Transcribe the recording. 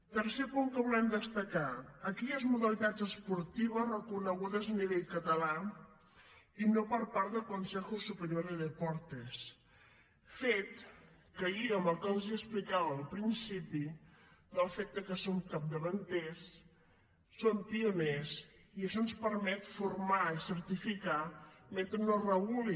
tercer punt que volem destacar aquelles modalitats esportives reconegudes a nivell català i no per part del consejo superior de deportes fet que lliga amb el que els explicava al principi del fet que som capdavanters som pioners i això ens permet formar i certificar mentre no es reguli